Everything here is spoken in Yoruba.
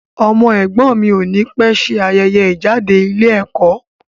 Ọmọ ẹ̀gbọ́n mi ò ní pẹ̀ ṣe ayẹyẹ ìjáde ilé ẹ̀kọ́.